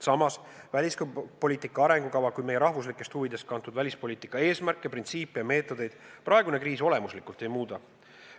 Samas, välispoliitika arengukava ja meie rahvuslikest huvidest kantud välispoliitika eesmärke, printsiipe ja meetodeid praegune kriis olemuslikult ei muuda.